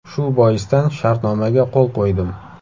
Shu boisdan shartnomaga qo‘l qo‘ydim.